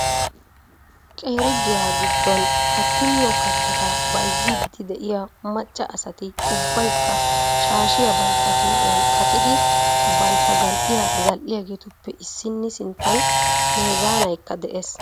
Qeeri giya giddon katti miyo kattata bayzziiddi de"iyaa macca asati ubbaykka shaashiya bantta huuphiyan qaccidi bantta zal"iyaa zal"iyaageetuppe issinni sinttan meezaanaykka de'ees.